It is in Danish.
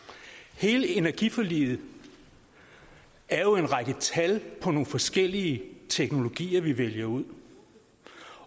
hele energiforliget er jo en række tal på nogle forskellige teknologier vi vælger ud